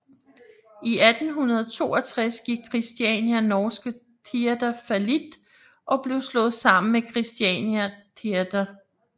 I 1862 gik Kristiania norske Theater fallit og blev slået sammen med Christiania Theater